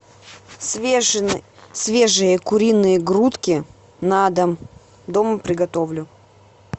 свежие куриные грудки на дом дома приготовлю